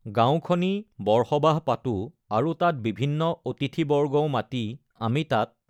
গাঁওখনি বৰসবাহ পাতোঁ আৰু তাত বিভিন্ন অতিথি বৰ্গও মাতি আমি তাত